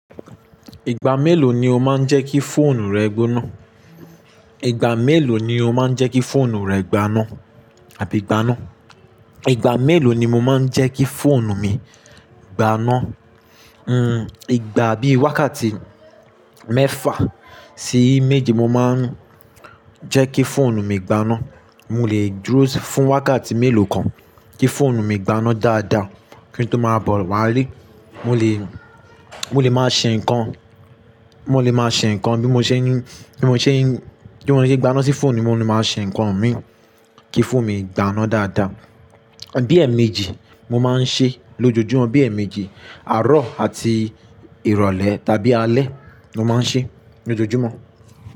Ìgbà mélòó ni o máa ń jẹ́ kí fóònù rẹ gbóná? Ìgbà mélòó ni o máa ń jẹ́ kí fóònù rẹ gbaná àbí gbaná? Ìgbà mélòó ni mo máa ń jẹ́ kí fóònù mi gbaná? Hmm, ìgbà bí wákàtí mẹ́fà sí méje mo máa ń jẹ́ kí fóònù mi gbaná. Mo lè duro si fún wákàtí mélòó kan kí fóònù mi gbaná dáadáa kí n tó má bọ̀ wá lé. Mo lè, mo lè máa ṣe ǹkan, mo lè máa ṣe ǹkan bí mo ṣe ní, bí mo ṣe ní, bí mo ṣe gbaná sí fóònù mi, mo ní máa ṣe ǹkan mi kí fóònù mi gbaná dáadáa. Bí èèmejì mo máa ń ṣe lójoojúmọ́, bí èèmejì, àárọ̀ àti ìrọ̀lẹ́ tàbí alẹ́ lo máa ń ṣe lójoojúmọ́